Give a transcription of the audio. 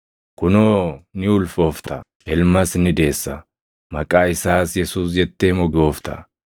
Kunoo ni ulfoofta; Ilmas ni deessa; maqaa isaas Yesuus jettee moggaafta.